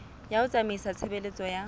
ya ho tsamaisa tshebeletso ya